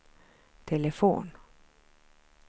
telefon